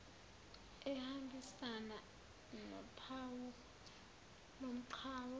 ehambisana nophawu lomgwaqo